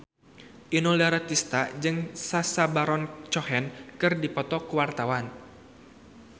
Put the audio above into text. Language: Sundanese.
Inul Daratista jeung Sacha Baron Cohen keur dipoto ku wartawan